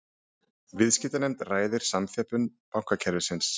Viðskiptanefnd ræði samþjöppun bankakerfisins